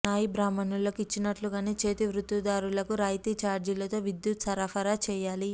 నాయి బ్రాహ్మణులకు ఇచ్చినట్లుగానే చేతి వృత్తిదారులకు రాయితీ ఛార్జీలతో విద్యుత్ సరఫరా చేయాలి